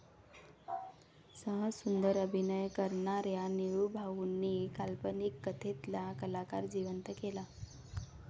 सहज सुंदर अभिनय करणाऱ्या निळूभाऊनीं काल्पनिक कथेतला कलाकार जिवंत केला.